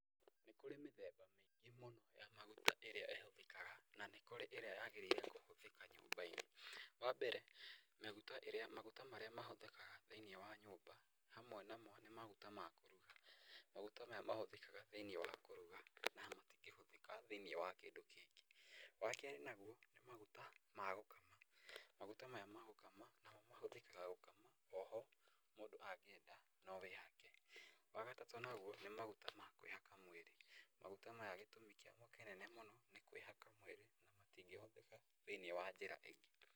Nĩ kũrĩ mĩthemba mĩingĩ mũno ya maguta ĩrĩa ĩhũthĩkaga na nĩ kũrĩ ĩrĩa yagĩrĩire kũhũthĩka nyũmba-inĩ. Wa mbere maguta marĩa mahũthĩkaga thĩ-inĩ wa nyũmba, hamwe namo nĩ maguta ma kũruga. Maguta maya mahũthĩkaga thĩ-inĩ wa kũruga na matingĩhũthĩka thĩ-inĩ wa kĩndũ kĩngĩ. Wa kerĩ naguo nĩ maguta ma gũkama, maguta maya ma gũkama namo mahũthĩkaga gũkama oho mũndũ angĩenda no wĩhake. Wa gatatũ naguo nĩ maguta ma kwĩhaka mwĩrĩ. maguta maya gĩtũmi kĩamo kĩnene mũno nĩ kwĩhaka mwĩrĩ na matingĩhũthĩka thĩ-inĩ wa njĩra ĩngĩ.